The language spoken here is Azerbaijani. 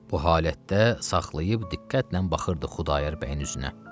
Bu halətdə saxlayıb diqqətlə baxırdı Xudayar bəyin üzünə.